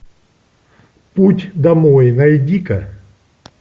путь домой найди ка